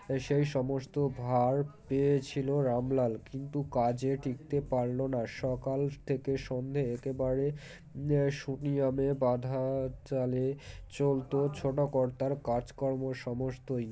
সেই সমস্ত ভাঁর পেয়েছিল রামলাল কিন্তু কাজে টিকতে পারলোনা সকাল থেকে সন্ধ্যে একেবারে ম্ সুনিয়মে বাঁধা চালে চলত ছোটো কর্তার কাজকর্ম সমস্তই